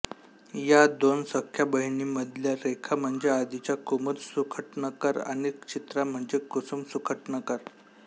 या दोन सख्ख्या बहिणींमधल्या रेखा म्हणजे आधीच्या कुमुद सुखटणकर आणि चित्रा म्हणजे कुसुम सुखटणकर